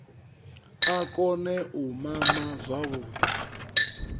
a kone u mama zwavhuḓi